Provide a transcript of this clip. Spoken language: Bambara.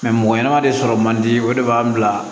mɔgɔ ɲɛnɛma de sɔrɔ man di o de b'an bila